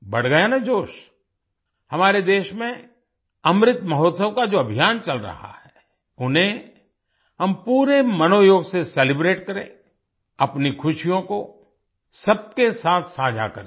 बढ़ गया ना जोश हमारे देश में अमृत महोत्सव का जो अभियान चल रहा है उन्हें हम पूरे मनोयोग से सेलिब्रेट करें अपनी खुशियों को सबके साथ साझा करें